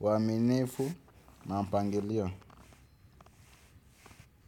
waminifu na mpangilio.